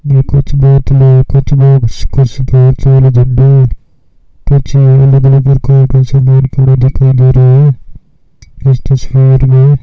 दिखाई दे रहे हैं इस तस्वीर में।